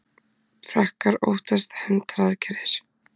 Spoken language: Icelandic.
Frakkar óttast hefndaraðgerðir